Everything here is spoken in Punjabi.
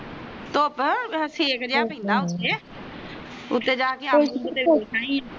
ਤੁਪ ਸੇਕ ਜਿਹਾ ਪੈਦਾ ਉਤੇ ਜਾਕੇ ਆਇਆ